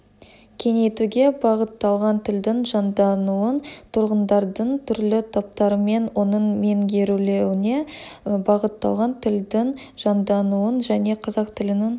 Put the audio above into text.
кеңейтуге бағытталған тілдің жаңдануын тұрғындардың түрлі топтарымен оның меңгерілуіне бағытталған тілдің жандануын және қазақ тілінің